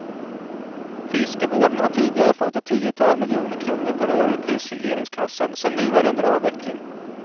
Fiskevården har tidigare fått ett tiotal miljoner kronor per år ur prisregleringskassan, som nu är under avveckling.